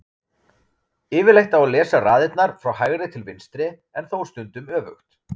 Yfirleitt á að lesa raðirnar frá hægri til vinstri en þó stundum öfugt.